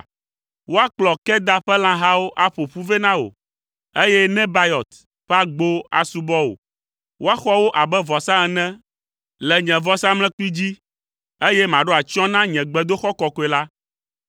Woakplɔ Kedar ƒe lãhawo aƒo ƒu vɛ na wò, eye Nebayɔt ƒe agbowo asubɔ wò. Woaxɔ wo abe vɔsa ene le nye vɔsamlekpui dzi, eye maɖo atsyɔ̃ na nye gbedoxɔ kɔkɔe la.